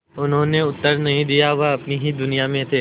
उन्होंने उत्तर नहीं दिया वे अपनी ही दुनिया में थे